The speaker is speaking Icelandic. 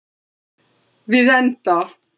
Við enda